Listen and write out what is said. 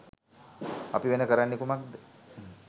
අපි වෙන කරන්නේ කුමක්ද?